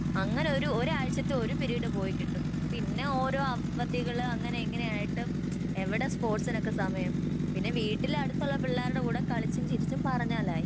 അങ്ങനൊരു ഒരാഴ്ചത്തെ ഒരു പിരീഡ് പോയി കിട്ടും പിന്നെ ഓരോ അവധികള് അങ്ങിനെ ഇങ്ങനെയായിട്ട് എവിടെ സ്പർട്സിനൊക്കെ സമയം പിന്നെ വീട്ടില് അടുത്തുള്ള പിള്ളാരുടെ കൂടെ കളിച്ചും ചിരിച്ചും പറഞ്ഞാലായി